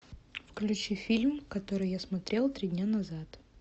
включи фильм который я смотрел три дня назад